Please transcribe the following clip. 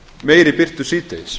meiri birtu síðdegis